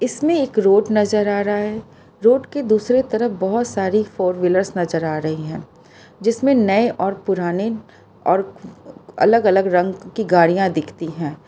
इसमें एक रोड नजर आ रहा है रोड के दूसरे तरफ बहुत सारी फोर व्हीलर नजर आ रही है जिसमें नए और पुराने और अलग अलग रंग की गाड़ियां दिखती हैं।